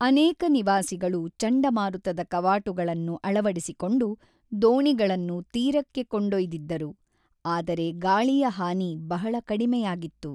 ಅನೇಕ ನಿವಾಸಿಗಳು ಚಂಡಮಾರುತದ ಕವಾಟುಗಳನ್ನು ಅಳವಡಿಸಿಕೊಂಡು ದೋಣಿಗಳನ್ನು ತೀರಕ್ಕೆ ಕೊಂಡೊಯ್ದಿದ್ದರು, ಆದರೆ ಗಾಳಿಯ ಹಾನಿ ಬಹಳ ಕಡಿಮೆಯಾಗಿತ್ತು.